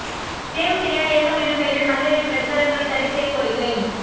save Syria இயக்கம் எனும் பெயரில் மத வெறி பிரச்சாரங்களை தடை செய்ய கோரிக்கை